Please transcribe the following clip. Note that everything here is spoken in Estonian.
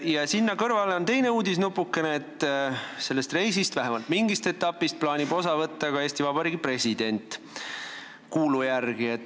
Ja sinna kõrvale on teine uudisnupukene, et sellest reisist, vähemalt mingist etapist, plaanib kuulu järgi osa võtta ka Eesti Vabariigi president.